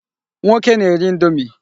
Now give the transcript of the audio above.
Nwoke na-eri indomi.